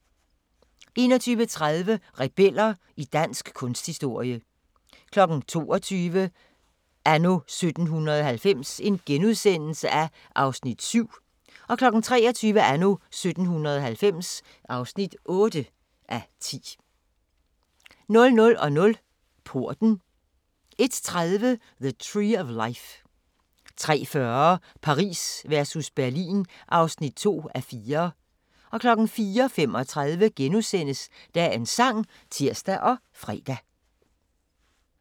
21:30: Rebeller i dansk kunsthistorie 22:00: Anno 1790 (7:10)* 23:00: Anno 1790 (8:10) 00:00: Porten 01:30: The Tree of Life 03:40: Paris versus Berlin (2:4) 04:35: Dagens sang *(tir og fre)